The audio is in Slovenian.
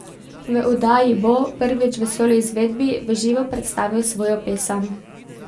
V oddaji bo, prvič v soloizvedbi, v živo predstavil svojo pesem.